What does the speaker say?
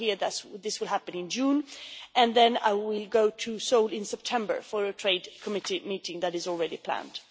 I hear this will happen in June, and then I will go to Seoul in September for a Trade Committee meeting that is already planned.